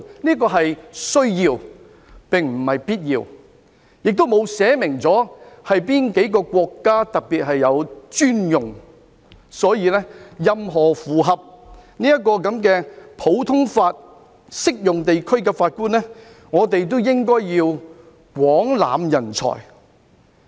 "這條文說的是"需要"，並非必要，條文亦沒有訂明哪幾個國家是特別專用，所以任何符合普通法適用地區的法官，我們都應該廣攬人才。